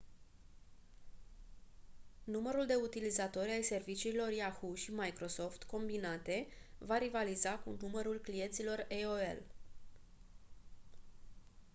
numărul de utilizatori ai serviciilor yahoo și microsoft combinate va rivaliza cu numărul clienților aol